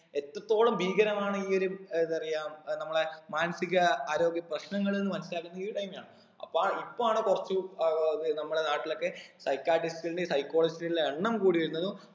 എത്രത്തോളം ഭീഗരമാണ് ഈ ഒരു എന്താ പറയാ ഏർ നമ്മളെ മാനസിക ആരോഗ്യ പ്രശ്നങ്ങള്ന്ന് മനസിലാക്കുന്നെ ഈ ഒരു time നാണ് അപ്പ ഇപ്പൊ ആണ് കൊറച്ച് ആഹ് നമ്മളെ നാട്ടിലൊക്കെ psychiatrist ന്റെയും psychologist കളുടെ എണ്ണം കൂടി വരുന്നതും